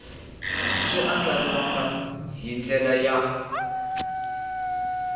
swi andlariwangi hi ndlela ya